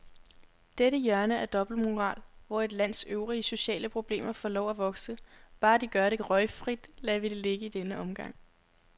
Dette hjørne af dobbeltmoral, hvor et lands øvrige sociale problemer får lov at vokse, bare de gør det røgfrit, lader vi ligge i denne omgang.